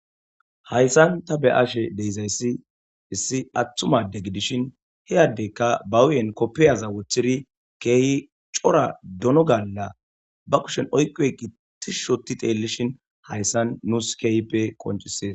hayssan ta be ashe deizayssi issi atthumade gidishin hiyaddeykka bahuyen koppiyaza woththiri keehi cora dono galla ba kushen oyqoy qi ti shoti teellishin hayssan nuus keyppe koncisees